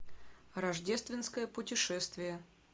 рождественское путешествие